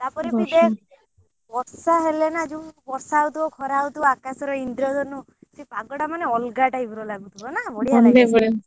ତା ପରେ ବି ଦେଖ୍ ବର୍ଷା ହେଲେ ନା ଯଉ ବର୍ଷା ହଉ ଥିବ ଖରା ହଉଥିବ ଆକାଶରେ ଇନ୍ଦ୍ର ଧନୁ ସେ ପାଗ ଟା ମାନେ ଅଲଗା type ର ଲାଗୁଥିବ ନା ବଡିଆ ଲାଗୁଥିବ ନା।